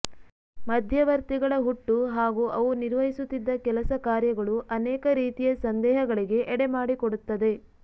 ಮಧ್ಯವರ್ತಿಗಳ ಹುಟ್ಟು ಹಾಗೂ ಅವು ನಿರ್ವಹಿಸುತ್ತಿದ್ದ ಕೆಲಸ ಕಾರ್ಯಗಳು ಅನೇಕ ರೀತಿಯ ಸಂದೇಹಗಳಿಗೆ ಎಡೆಮಾಡಿಕೊಡುತ್ತದೆ